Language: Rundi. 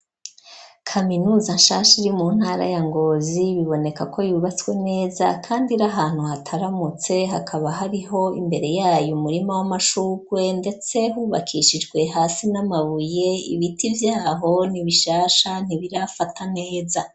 Kaminuza nshasha iri mu ntara ya Ngozi biboneka ko yubatswe neza kandi iri ahantu hataramutse hakaba hariho imbere yayo umurima w'amashugwe ndetse hubakishijwe hasi n'amabuye ibiti vyaho ni bishasha ntibirafata neza.